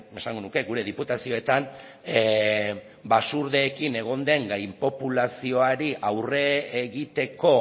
esango nuke gure diputazioetan basurdeekin egon den gainpopulazioari aurre egiteko